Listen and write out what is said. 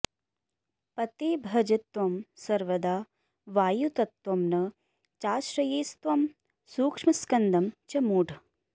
पते भज त्वं सर्वदा वायुतत्त्वं न चाश्रयेस्त्वं सूक्ष्मस्कन्दं च मूढ